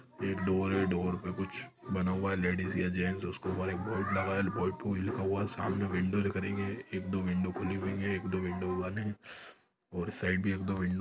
एक डोर है डोर पे कुछ बना हुआ है लेडीज़ या जेन्स उसके ऊपर एक बोर्ड लगा है बोर्ड पे कुछ लिखा हुआ है सामने विंडो दिख रही है एक दो विंडो खुली हुई है एक दो विंडो बंद है और इस साइड भी एक दो विंडो --